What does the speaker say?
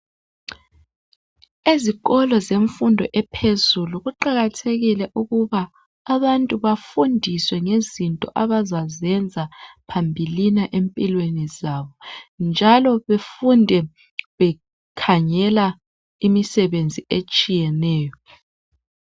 Ezikolo zemfundo ephezulu kuqakathekile ukuba abantu bafundiswe ngezinto abazazenza phambilini empilweni zabo njalo befunde bekhangela imisebenzi etshiyeneyo.